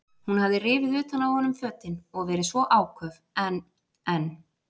Hún hafði rifið utan af honum fötin og verið svo áköf en, en.